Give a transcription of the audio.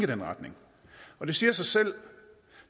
den retning det siger sig selv at